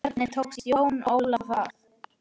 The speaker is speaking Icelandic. Hvernig tókst Jóni Óla það?